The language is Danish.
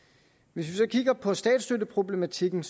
hvis vi så kigger på statsstøtteproblematikken